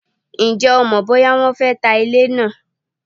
Ǹjẹ́ o mọ̀ bóyá wọ́n fé ta ilé naa?